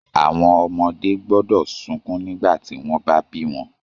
Àwọn ọmọdé gbọ́dọ̀ sunkún nígbà tí wọ́n bá bí wọn